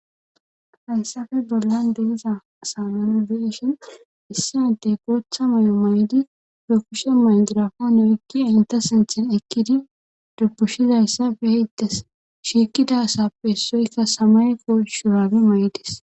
hayssafe bollan deiza samana beshin issiaade gootha may7o may7di rekushe maynjirafa noykkia inta sinthin ekkidi dubushizayssafe heyttes shiikida asappe essoykka samay foshurage may7dis